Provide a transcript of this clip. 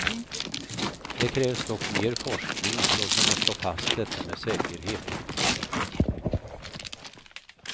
Det krävs dock mer forskning för att kunna slå fast detta med säkerhet.